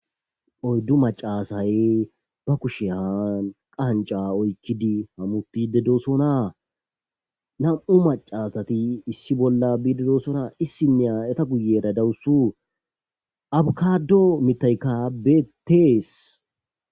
Oyddu macasay ba kusheyan qanca oykkidi hamutide dosona nam7u macasati issi bolla biididosona issinne aeta guyera dawusu abukado mitaykka beetees.